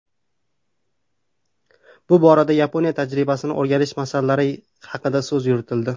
Bu borada Yaponiya tajribasini o‘rganish masalalari haqida so‘z yuritildi.